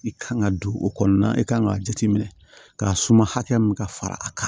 I kan ka don o kɔnɔna na i kan ka jateminɛ ka suma hakɛ min ka fara a kan